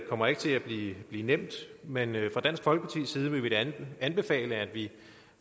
kommer ikke til at blive nemt men fra dansk folkepartis side vil vi da anbefale at vi